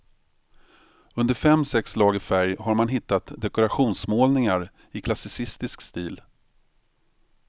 Under fem sex lager färg har man hittat dekorationsmålningar i klassicistisk stil.